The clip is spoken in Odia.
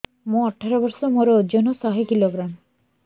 ମୁଁ ଅଠର ବର୍ଷ ମୋର ଓଜନ ଶହ କିଲୋଗ୍ରାମସ